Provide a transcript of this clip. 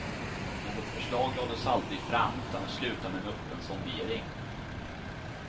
Något förslag lades aldrig fram, utan det slutade med en öppen sondering.